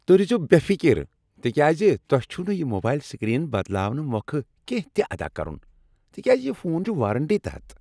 تہۍ روزو بےٚ فکر تکیاز تۄہہ چھوٕ نہٕ یہ موبایل سکرین بدلاونہ مۄکھٕ کیٚنہہ تہ ادا کرُن تکیاز یہ فون چھ وارنٹی تحت۔